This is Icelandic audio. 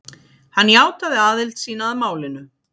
Hann játaði aðild sína að málinu